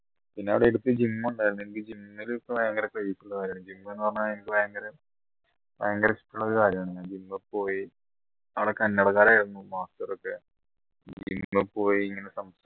പിന്നെ അവിടെ അടുത്ത് gym ഉണ്ടായിരുന്നു എനിക്ക് gym ൽ ഇപ്പ ഭയങ്കര craze ആ gym ന്ന് പറഞ്ഞ എനിക്ക് ഭയങ്കര ഭയങ്കര ഇഷ്ടമുള്ള ഒരു കാര്യണ് ഞാൻ പോയി അവിടെ കന്നട കാരായിരുന്നു master ഒക്കെ